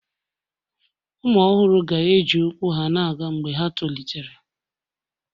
Ụmụ ọhụrụ ga-eji ụkwụ na-aga mgbe ha tolitere